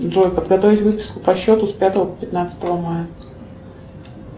джой подготовить выписку по счету с пятого по пятнадцатое мая